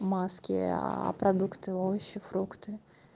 маски а продукты овощи фрукты